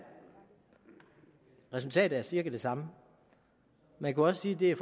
resultatet er cirka det samme man kunne også sige at det er